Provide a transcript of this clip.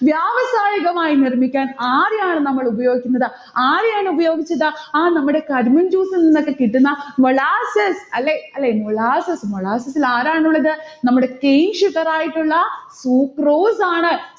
വ്യാവസായകമായി നിർമിക്കാൻ ആരെയാണ് നമ്മൾ ഉപയോഗിക്കുന്നത്. ആരെയാണ് ഉപയോഗിച്ചത്? ആ നമ്മടെ കരിമ്പിൻ juice ഇൽനിന്നൊക്കെ കിട്ടുന്ന molasses അല്ലെ? അല്ലെ malaces molasses ൽ ആരാണുള്ളത്? നമ്മുടെ cane sugar ആയിട്ടുള്ള sucrose ആണ്.